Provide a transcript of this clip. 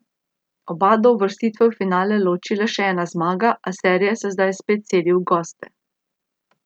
Oba do uvrstitve v finale loči le še ena zmaga, a serija se zdaj spet seli v goste.